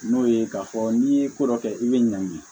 N'o ye k'a fɔ n'i ye ko dɔ kɛ i bɛ ɲanki